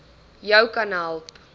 jou kan help